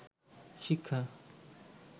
শিক্ষা